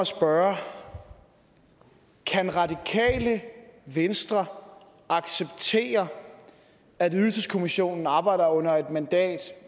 spørge kan radikale venstre acceptere at ydelseskommissionen arbejder under et mandat